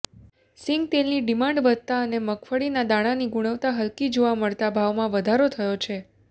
સિંગતેલની demand વધતા અને મગફળીના દાણાની ગુણવતા હલકી જોવા મળતા ભાવમાં વધારો થયો છે